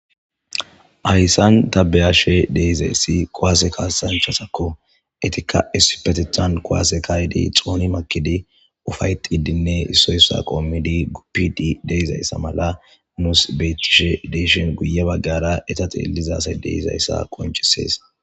Hayisan ta be7ashe dezayis kuwase kasanchatako. Etika issipetethan kuwase ka7i xoni makid ufa7etidine esoy esuwara qomid gufide de7izayisa mala nus betishe de7ishin guye bagara eta xeliza asay dizayisa qoncises.